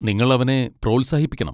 നിങ്ങൾ അവനെ പ്രോത്സാഹിപ്പിക്കണം.